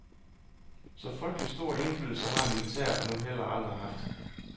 Så frygtelig stor indflydelse har militæret nu heller aldrig haft.